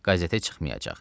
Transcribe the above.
Qəzetə çıxmayacaq.